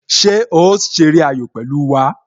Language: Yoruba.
Ṣé o ṣeré ayò pẹ̀lú wá?